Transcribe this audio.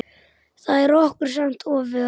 Það er okkur samt ofviða.